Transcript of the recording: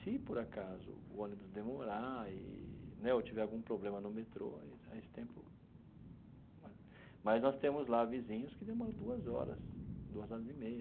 Se, por acaso, o ônibus demorar e né eu tiver algum problema no metrô, aí aí esse tempo mas... Mas nós temos lá vizinhos que demoram duas horas, duas horas e meia.